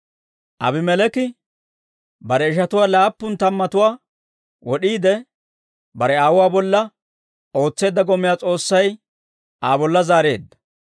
Aabimeleeki bare ishatuwaa laappun tammatuwaa wod'iide, bare aawuwaa bolla ootseedda gomiyaa S'oossay Aa bolla zaareedda.